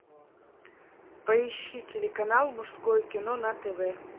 поищи телеканал мужское кино на тв